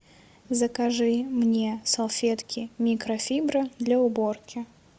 закажи мне салфетки микрофибра для уборки